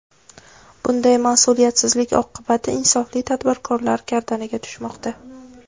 Bunday mas’uliyatsizlik oqibati insofli tadbirkorlar gardaniga tushmoqda.